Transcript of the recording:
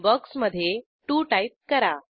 बॉक्समधे 2 टाईप करा